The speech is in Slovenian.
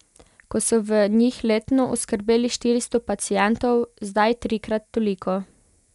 Ko so v njih letno oskrbeli štiristo pacientov, zdaj trikrat toliko.